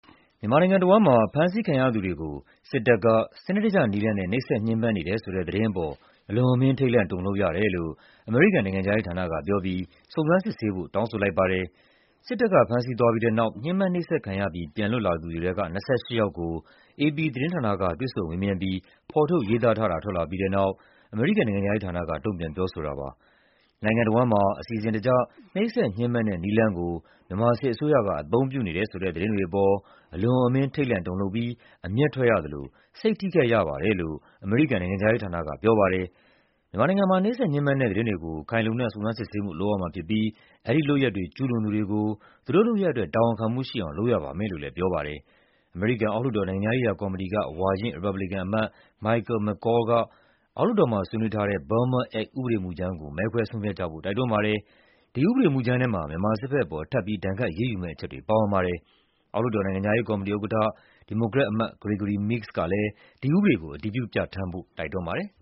မြန်မာနိုင်ငံတဝန်းမှာ ဖမ်းဆီးခံရသူတွေကို စစ်တပ်က စနစ်တကျနည်းလမ်းနဲ့ နှိပ်စက်ညှဉ်းပန်းနေတယ်ဆိုတဲ့သတင်းအပေါ် အလွန်အမင်း ထိတ်လန့်တုန်လှုပ်ရတယ်လို့ အမေရိကန်နိုင်ငံခြားရေးဌာနကပြောပြီး စုံစမ်းစစ်ဆေးဖို့ တောင်းဆိုလိုက်ပါတယ်။ စစ်တပ်က ဖမ်းဆီးသွားပြီးတဲ့နောက် ညှဉ်းပန်းနှိပ်စက်ခံရပြီး ပြန်လွတ်လာသူတွေထဲက ၂၈ ယောက်ကို အေပီသတင်းဌာနက တွေ့ဆုံမေးမြန်းပြီး ဖော်ထုတ်ရေးသားထားတာ ထွက်လာပြီးတဲ့နောက် အမေရိကန်နိုင်ငံခြားရေးဌာနက တုံ့ပြန်ပြောဆိုတာပါ။ "နိုင်ငံတဝန်းမှာ အစီအစဉ်တကျ နှိပ်စက်ညှဉ်းပန်းတဲ့နည်းလမ်းကို မြန်မာစစ်အစိုးရက အသုံးပြုနေတယ်ဆိုတဲ့ သတင်းတွေအပေါ် အလွန်အမင်း ထိတ်လန့်တုန်လှုပ်ပြီး အမျက်ထွက်ရသလို စိတ်ထိခိုက်ရပါတယ်" လို့ အမေရိကန်နိုင်ငံခြားရေးဌာနက ပြောပါတယ်။ "မြန်မာနိုင်ငံမှာ နှိပ်စက်ညှဉ်းပန်းတဲ့သတင်းတွေကို ခိုင်လုံတဲ့ စုံစမ်းစစ်ဆေးမှုလုပ်ရမှာဖြစ်ပြီး အဲဒီလုပ်ရပ်တွေ ကျူးလွန်သူတွေကို သူတို့လုပ်ရပ်အတွက် တာဝန်ခံမှုရှိအောင် လုပ်ရပါမယ်" လို့လည်း ပြောပါတယ်။ အမေရိကန်အောက်လွှတ်တော်၊ နိုင်ငံခြားရေးရာကော်မတီက ဝါရင့်ရီပတ်ဘလီကန်အမတ် Michael McCaul က အောက်လွှတ်တော်မှာဆွေးနွေးထားတဲ့ Burma Act ကို မဲခွဲဆုံးဖြတ်ကြဖို့ တိုက်တွန်းပါတယ်။ ဒီဥပဒေမူကြမ်းထဲမှာ မြန်မာစစ်ဘက်ပေါ် ထပ်ပြီး ဒဏ်ခတ်အရေးယူမယ့် အချက်တွေပါဝင်ပါတယ်။ အောက်လွှတ်တော် နိုင်ငံခြားရေးကော်မတီဥက္ကဋ္ဌ၊ ဒီမိုကရက်အမတ် Gregory Meeks ကလည်း ဒီဥပဒေကို အတည်ပြုပြဌာန်းဖို့ တိုက်တွန်းပါတယ်။